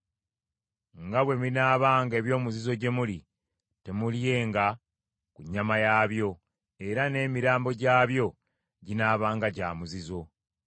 Nga bwe binaabanga eby’omuzizo gye muli, temuulyenga ku nnyama yaabyo, era n’emirambo gyabyo ginaabanga gya muzizo.